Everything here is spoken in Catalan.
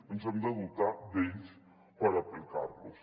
ens hem de dotar d’ells per aplicar los